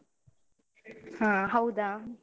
ಹ ಹೌದಾ?